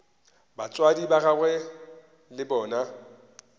batswadi ba gagwe le bona